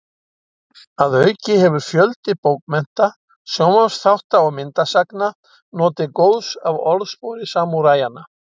Að auki hefur fjöldi bókmennta, sjónvarpsþátta og myndasagna notið góðs af orðspori samúræjanna.